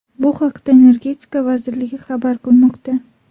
Bu haqda Energetika vazirligi xabar qilmoqda .